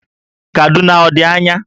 Kaduna ọ dị anya?